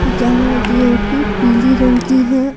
जहां जियो की पीले रंग की है।